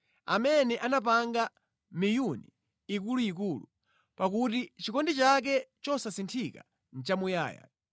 Amene anapanga miyuni ikuluikulu, pakuti chikondi chake chosasinthika nʼchamuyaya.